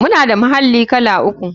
Muna da muhalli kala uku.